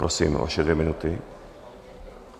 Prosím, vaše dvě minuty.